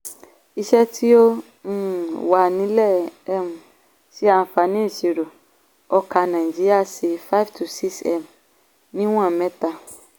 iṣẹ́ tí ó um wà nílẹ̀ um ṣe àǹààní ìṣirò ọkà náìjíríà sí five to six m níwọn mẹ́ta.